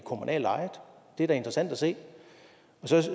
kommunalt ejede det er da interessant at se og så